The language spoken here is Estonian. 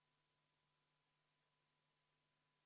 Ma kaalusin Riigikogu liikme Rainer Epleri protesti ja leidsin järgnevat.